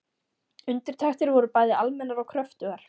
Undirtektir voru bæði almennar og kröftugar.